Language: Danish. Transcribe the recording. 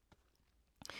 DR P2